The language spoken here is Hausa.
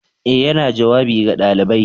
Ee, yana jawabi ga ɗalibai